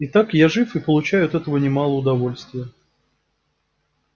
и так я жив и получаю от этого немало удовольствия